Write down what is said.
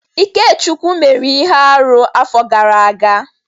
Ikechukwu mere ihe arụ afọ gara aga.